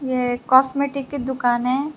यह एक कॉस्मेटिक की दुकान है।